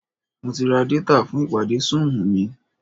Mo ti ra détà fún ìpàdé súùmù mi